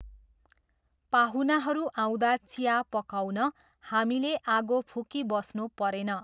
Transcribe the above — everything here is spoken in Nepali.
पाहुनाहरू आउँदा चिया पकाउन हामीले आगो फुकिबस्नु परेन।